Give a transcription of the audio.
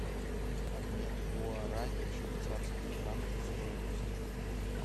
обмен гуарани в швейцарские франки стоимость